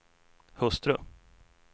hustru